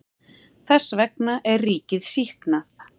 Þess vegna er ríkið sýknað.